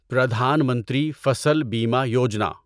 Pradhan Mantri Fasal Bima Yojana